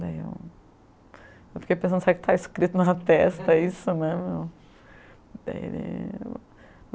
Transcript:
Daí eu eu fiquei pensando, será que está escrito na testa isso, né meu? Daí ele